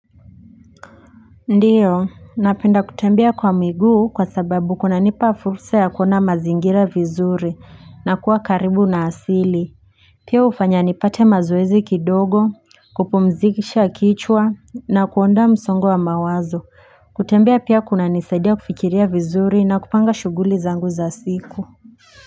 Ndiyo, napenda kutembea kwa miguu kwa sababu kuna nipa fursa ya kuona mazingira vizuri na kuwa karibu na asili. Pia hufanya nipate mazoezi kidogo, kupumzisha kichwa na kuondoa msongo wa mawazo. Kutembea pia kunanisaidia kufikiria vizuri na kupanga shuguli zangu za siku.